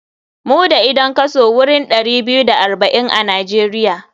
Mu da idan kaso wurin ɗari biyu da arba'in a nijeria.